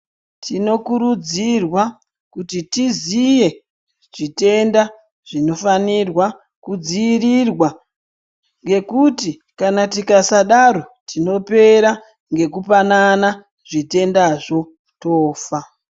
Tinokurudzirwa kuti tiziye zvitende zvinofanirwa kudziirirwa ngekuti kana tikasadaro tinopera ngekupanana zvitendazvo tofa.